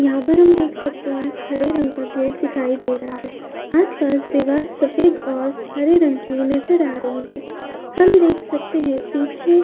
यहां पर हम देख सकते हैं। हरे रंग का गेट दिखाई दे रहा है। आस पास दीवार सफेद और हरे रंग की नजर आ रही है। हम देख सकते हैं पीछे --